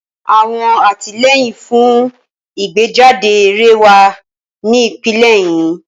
Awọn atilẹyin fun igbejade eré wa ni ipele ẹhin.